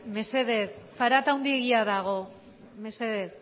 mesedez zarata handiegia dago mesedez